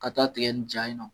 Ka taa tigɛ nin ja yen nɔ.